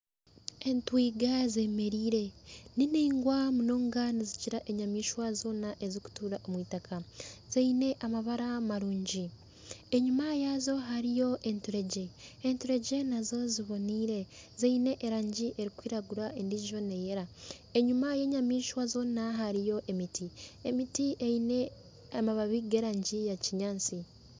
Entwiga zemereire niningwa munonga nizikira enyamaishwa zoona ezirikutukura omu itaka ziine amabara marungi enyuma yaazo hariyo enturegye enturegye nazo ziboneire ziine erangi erikwiragura endiijo neyera enyuma yenyamaishwa zoona hariyo emiti, emiti eine amababi g'erangi ya kinyaatsi.